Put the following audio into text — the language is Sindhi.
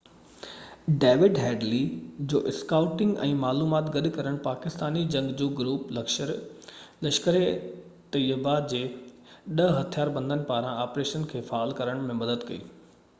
ڊيوڊ هيڊلي جي اسڪائوٽنگ ۽ معلومات گڏ ڪرڻ پاڪستاني جنگجو گروپ لشڪر-اي طيبه جي 10 هٿيار بندن پاران آپريشن کي فعال ڪرڻ ۾ مدد ڪئي